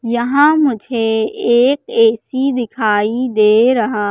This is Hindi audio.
यहां मुझे एक ऐ_सी दिखाई दे रहा--